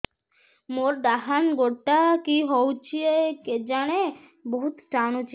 ମୋର୍ ଡାହାଣ୍ ଗୋଡ଼ଟା କି ହଉଚି କେଜାଣେ ବହୁତ୍ ଟାଣୁଛି